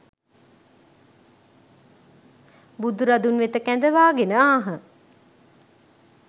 බුදුරදුන් වෙත කැඳවා ගෙන ආහ.